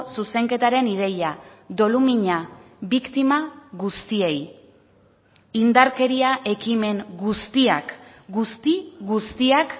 zuzenketaren ideia dolumina biktima guztiei indarkeria ekimen guztiak guzti guztiak